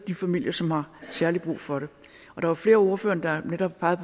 de familier som har særlig brug for det der var flere af ordførerne der netop pegede